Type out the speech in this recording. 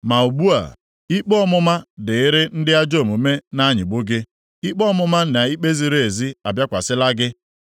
Ma ugbu a, ikpe ọmụma dịịrị ndị ajọ omume na-anyịgbu gị; ikpe ọmụma na ikpe ziri ezi abịakwasịla gị.